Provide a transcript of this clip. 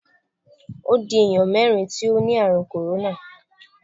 Ó di èèyàn mérìn tí ó ni ààrùn kòróná.